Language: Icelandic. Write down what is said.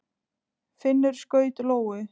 Finnur skaut lóu.